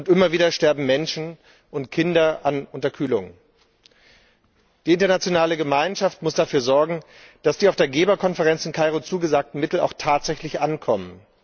Immer wieder sterben Menschen und Kinder an Unterkühlung. Die internationale Gemeinschaft muss dafür sorgen, dass die auf der Geberkonferenz in Kairo zugesagten Mittel auch tatsächlich ankommen.